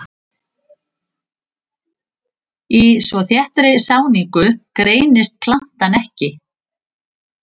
Í svo þéttri sáningu greinist plantan ekki.